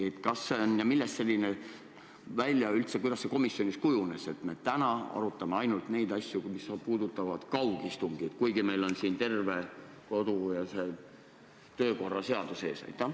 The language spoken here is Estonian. Kuidas see komisjonis üldse nii kujunes, et me täna arutame asju, mis puudutavad kaugistungit, kuigi meil on siin terve kodu- ja töökorra seadus ees?